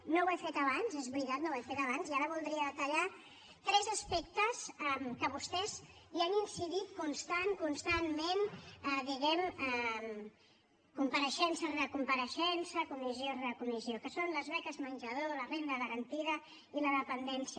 no ho he fet abans és veritat no ho he fet abans i ara voldria detallar tres aspectes en què vostès han incidit constant constantment diguem ne compareixença rere compareixença comissió rere comissió que són les beques menjador la renda garantida i la dependència